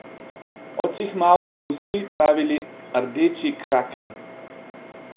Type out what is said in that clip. Odsihmal so mu vsi pravili Rdeči kraken.